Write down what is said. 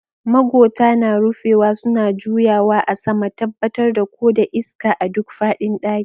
Magota na rufewa suna juyawa a sama, tabbatar da ko da iska a duk faɗin ɗakin.